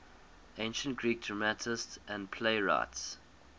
ancient greek dramatists and playwrights